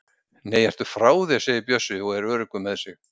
Nei, ertu frá þér! segir Bjössi og er öruggur með sig.